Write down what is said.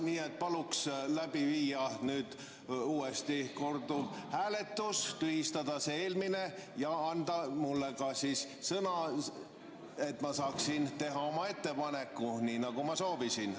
Nii et paluks läbi viia nüüd korduvhääletus, tühistada see eelmine ja anda mulle ka sõna, et ma saaksin teha oma ettepaneku, nii nagu ma soovisin.